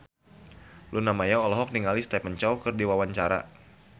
Luna Maya olohok ningali Stephen Chow keur diwawancara